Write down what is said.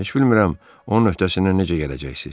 Heç bilmirəm onun öhdəsindən necə gələcəksiniz.